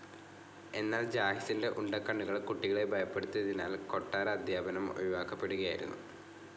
എന്നാൽ ജാഹിസിന്റെ ഉണ്ടക്കണ്ണുകൾ കുട്ടികളെ ഭയപ്പെടുത്തിയതിനാൽ കൊട്ടാര അധ്യാപനം ഒഴിവാക്കപ്പെടുകയായിരുന്നു.